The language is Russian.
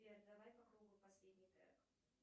сбер давай по кругу последний трек